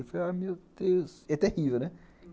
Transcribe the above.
Eu falei, ai, meu Deus, é terrível, né?